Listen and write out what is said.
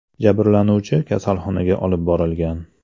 Jabrlanuvchi kasalxonaga olib borilgan.